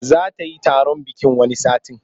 Za ta yi bikin taron wani satin.